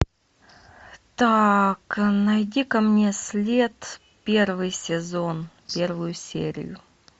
так найди ка мне след первый сезон первую серию